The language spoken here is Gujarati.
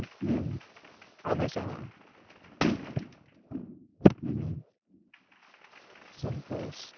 હમ હા મહેસાણા હમ શંકુ